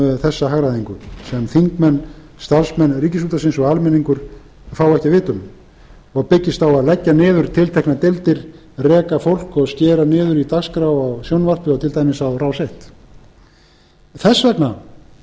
um þessa hagræðingu sem þingmenn starfsmenn ríkisútvarpsins og almenningur fá ekki að vita um og byggist á að leggja niður tilteknar deildir reka fólk og skera niður í dagskrá í sjónvarpi og til dæmis á rás fyrstu þess vegna